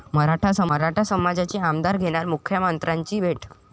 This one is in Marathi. मराठा समाजाचे आमदार घेणार मुख्यमंत्र्यांची भेट